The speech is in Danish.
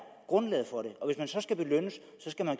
grundlaget for det og så skal belønnes skal man